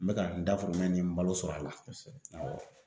N bɛ ka n dahirimɛ ni n balo sɔrɔ a la.